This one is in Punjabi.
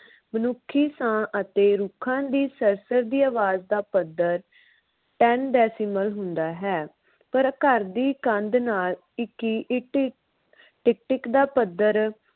ਮਨੁੱਖੀ ਸਾਹ ਅਤੇ ਰੁੱਖਾਂ ਦੀ ਸਰ ਸਰ ਦੀ ਆਵਾਜ ਦਾ ਪੱਧਰ ten decibel ਹੁੰਦਾ ਹੈ ਪਰ ਘਰ ਦੀ ਕੰਧ ਨਾਲ ਟਿਕੀ ਟਿਕ ਟਿਕ ਦਾ ਪੱਧਰ